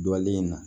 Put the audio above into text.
Dɔlen in na